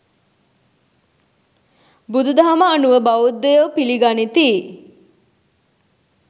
බුදුදහම අනුව බෞද්ධයෝ පිළිගනිති.